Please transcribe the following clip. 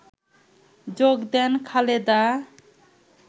যোগ দেন খালেদা